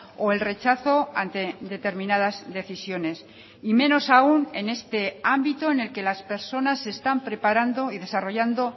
o el rechazo ante determinadas decisiones y menos aún en este ámbito en el que las personas se están preparando y desarrollando